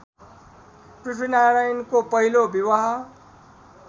पृथ्वीनारायणको पहिलो विवाह